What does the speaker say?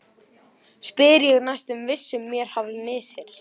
spyr ég, næstum viss um mér hafi misheyrst.